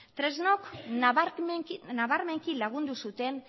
tresnok nabarmenki lagundu zuten